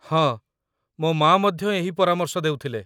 ହଁ, ମୋ ମା' ମଧ୍ୟ ଏହି ପରାମର୍ଶ ଦେଉଥିଲେ।